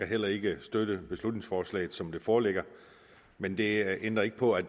heller ikke støtte beslutningsforslaget som det foreligger men det ændrer ikke på at